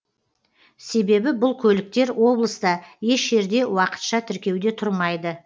себебі бұл көліктер облыста еш жерде уақытша тіркеуде тұрмайды